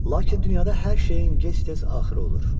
Lakin dünyada hər şeyin gec-tez axırı olur.